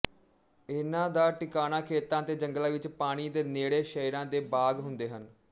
ਇਹਨਾਂ ਦਾ ਟਿਕਾਣਾ ਖੇਤਾਂ ਤੇ ਜੰਗਲਾਂ ਵਿੱਚ ਪਾਣੀ ਦੇ ਨੇੜੇ ਸ਼ਹਿਰਾਂ ਦੇ ਬਾਗ਼ ਹੁੰਦੇ ਹਨ